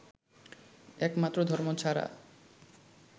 একমাত্র ধর্ম ছাড়া